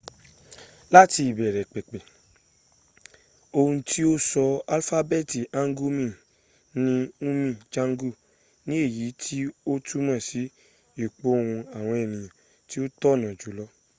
láti ìbẹ̀rẹ̀ pẹ̀pẹ̀ ohun tí ó sọ alifábẹ́ẹ̀tì hangeul ni hunmin jeongeum ni èyí tí ó túnmọ̀ sí ìpohùn àwọn ẹ̀nìyàn tí ó tọ̀nà jùlọ